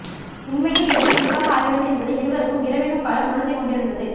இன்மையே இங்கு இருப்பாக ஆகிறது என்பதை இருவருக்கும் இரவெனும் காலம் உணர்த்திக் கொண்டிருந்தது